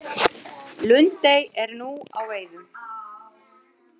Lundey er nú á veiðum